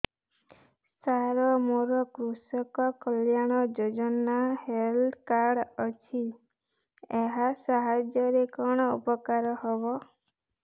ସାର ମୋର କୃଷକ କଲ୍ୟାଣ ଯୋଜନା ହେଲ୍ଥ କାର୍ଡ ଅଛି ଏହା ସାହାଯ୍ୟ ରେ କଣ ଉପକାର ହବ